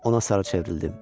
Ona sarı çevrildim.